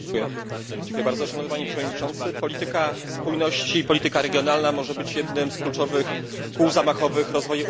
Szanowny panie przewodniczący! Polityka spójności, polityka regionalna może być jednym z kluczowych kół zamachowych rozwoju Unii Europejskiej.